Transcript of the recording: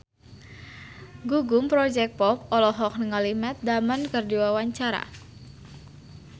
Gugum Project Pop olohok ningali Matt Damon keur diwawancara